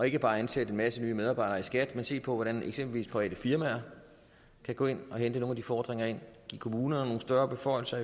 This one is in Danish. ikke bare at ansætte en masse medarbejdere i skat men se på hvordan eksempelvis private firmaer kan gå ind og hente nogle af de fordringer ind give kommunerne nogle større beføjelser